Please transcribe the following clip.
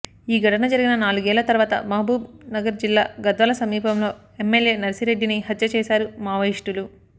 ఈ ఘటన జరిగిన నాలుగేళ్ల తర్వాత మహబూబ్ నగర్ జిల్లా గద్వాల సమీపంలో ఎమ్మెల్యే నర్సిరెడ్డిని హత్య చేశారు మావోయిస్టులు